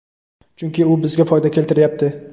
Chunki, u bizga foyda keltiryapti.